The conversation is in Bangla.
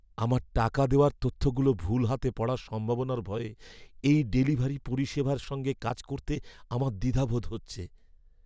আমার টাকা দেওয়ার তথ্যগুলো ভুল হাতে পড়ার সম্ভাবনার ভয়ে এই ডেলিভারি পরিষেবার সঙ্গে কাজ করতে আমার দ্বিধাবোধ হচ্ছে।